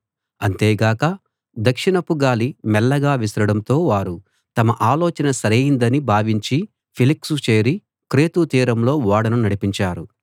అంతేగాక దక్షిణపు గాలి మెల్లగా విసరడంతో వారు తమ ఆలోచన సరైందని భావించి ఫీనిక్సు చేరి క్రేతు తీరంలో ఓడను నడిపించారు